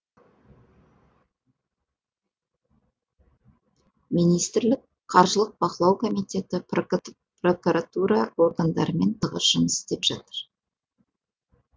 министрлік қаржылық бақылау комитеті прокуратура органдарымен тығыз жұмыс істеп жатыр